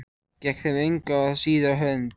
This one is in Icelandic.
Gekk þeim engu að síður á hönd.